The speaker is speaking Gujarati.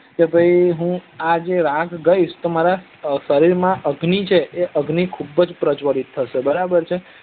કે ભાઈ હુ આ જે રાગ ગાઇશ તો મારા સરીર માં જે અગ્નિ છે એ અગ્નિ ખુબજ પજ્વ્લ્લિત થશે